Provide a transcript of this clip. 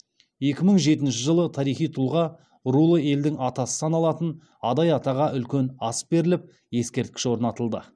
екі мың жетінші жылы тарихи тұлға рулы елдің атасы саналатын адай атаға үлкен ас беріліп ескерткіш орнатылды